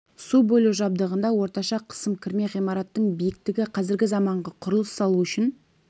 су бөлу жабдығында орташа қысым кірме ғимараттың биіктігі қазіргі заманғы құрылыс салу үшін